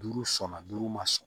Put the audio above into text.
Duuru sɔnna duuru ma